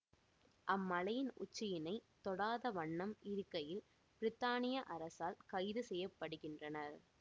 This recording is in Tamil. அம்மலையின் உச்சியினை தொடாத வண்ணம் இருக்கையில் பிரித்தானிய அரசால் கைது செய்ய படுகின்றனர்